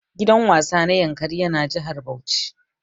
Gidan wasa na yankari ƴa na jihar Bauchi.